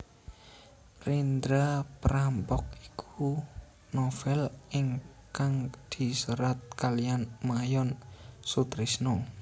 Rendra Perampok iku novèl ingkang diserat kaliyan Mayon Soetrisno